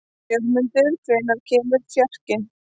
Jörmundur, hvenær kemur fjarkinn?